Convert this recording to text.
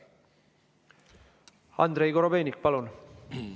Andrei Korobeinik, palun!